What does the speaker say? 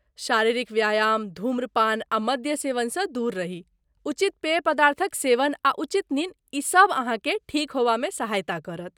शारीरिक व्यायाम, ध्रूमपान आ मद्य सेवनसँ दूर रही, उचित पेय पदार्थक सेवन, आ उचित निन्न, ई सब अहाँकेँ ठीक होयबामे सहायता करत।